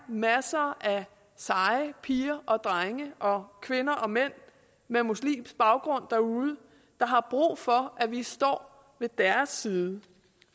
masser af seje piger og drenge og kvinder og mænd med muslimsk baggrund derude der har brug for at vi står ved deres side